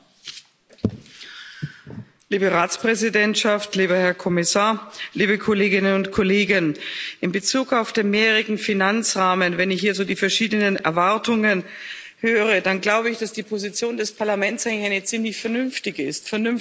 Herr Präsident, liebe Ratspräsidentschaft, lieber Herr Kommissar, liebe Kolleginnen und Kollegen! In Bezug auf den mehrjährigen Finanzrahmen Wenn ich hier so die verschiedenen Erwartungen höre, dann glaube ich, dass die Position des Parlaments eine ziemlich vernünftige ist.